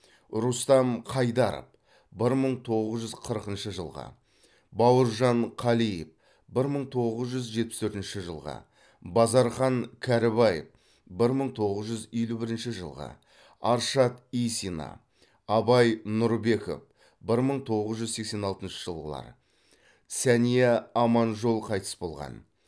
рустам қайдаров бір мың тоғыз жүз қырқыншы жылғы бауыржан қалиев бір мың тоғыз жүз жетпіс төртінші жылғы базархан кәрібаев бір мың тоғыз жүз елу бірініші жылғы аршат исина абай нұрбеков бір мың тоғыз жүз сексен алтыншы жылғылар сәния аманжол қайтыс болған